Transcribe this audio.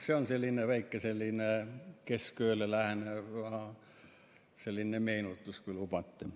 See on praegusel keskööle läheneval kellaajal selline väike meenutus, kui lubate.